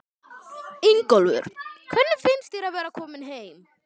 Ingólfur: Hvernig finnst þér að vera kominn heim?